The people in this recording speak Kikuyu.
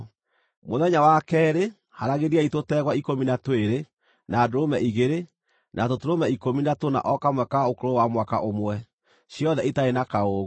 “ ‘Mũthenya wa keerĩ, haaragĩriai tũtegwa ikũmi na twĩrĩ, na ndũrũme igĩrĩ, na tũtũrũme ikũmi na tũna o kamwe ka ũkũrũ wa mwaka ũmwe, ciothe itarĩ na kaũũgũ.